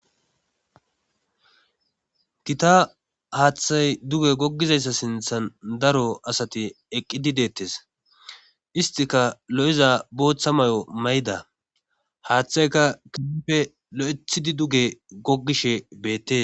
Gita haaththay duge goggizayssa sinthan daro asati eqqidi deettes istika lo'iza booththa mayo mayida haaththayka kehippe lo'ethidi duge goggishe beettes